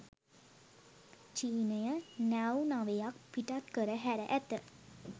චීනය නැව් නවයක් පිටත් කර හැර ඇත.